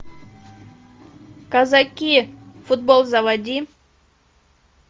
казаки футбол заводи